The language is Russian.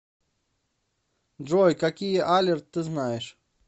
джой какие алерт ты знаешь